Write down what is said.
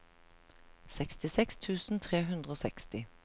sekstiseks tusen tre hundre og seksti